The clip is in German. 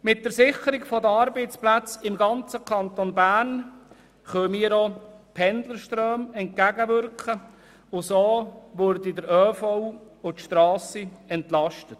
Mit der Sicherung der Arbeitsplätze im ganzen Kanton Bern können wir auch Pendlerströmen entgegenwirken und damit den öffentlichen Verkehr (ÖV) und die Strassen entlasten.